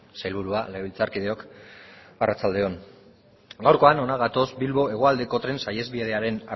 sailburua legebiltzarkideok arratsalde on gaurkoan hona gatoz bilbo hegoaldeko tren saihesbidearen